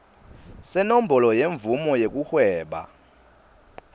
senombolo yemvumo yekuhweba